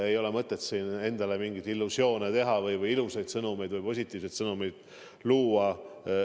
Ei ole mõtet siin endale mingeid illusioone luua või ilusaid positiivseid sõnumeid saata.